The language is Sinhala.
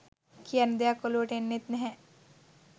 කියන්න දෙයක් ඔලුවට එන්නෙත් නැහැ.